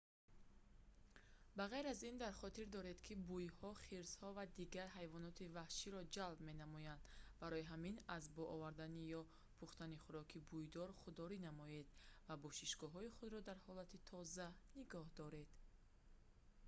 ба ғайр аз ин дар хотир доред ки бӯйҳо хирсҳо ва дигар ҳайвоноти ваҳширо ҷалб менамоянд барои ҳамин аз бо худ овардан ё пухтани хӯроки бӯйдор худдорӣ намоед ва бошишгоҳи худро дар ҳолати тоза нигоҳ доред